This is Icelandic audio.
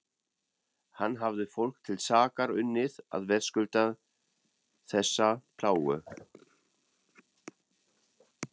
Hvað hafði fólk til sakar unnið að verðskulda þessa plágu?